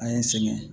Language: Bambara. An ye n sɛgɛn